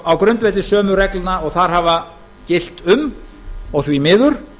á grundvelli sömu reglna og þar hafa gilt um og því miður